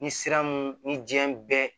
Ni sira mun ni diɲɛ bɛɛ